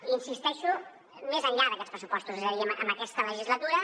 hi insisteixo més enllà d’aquests pressupostos és a dir en aquesta legislatura